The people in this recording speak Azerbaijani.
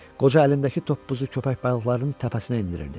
Qoca əlindəki toppuzu köpək balıqlarının təpəsinə endirirdi.